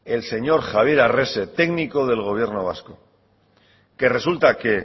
el señor javier arrese técnico del gobierno vasco que resulta que